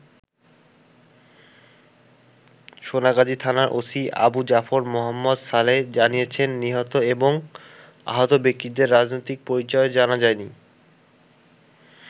সোনাগাজী থানার ওসি আবু জাফর মোহাম্মদ সালেহ জানিয়েছেন, নিহত এবং আহত ব্যাক্তিদের রাজনৈতিক পরিচয় জানা যায়নি।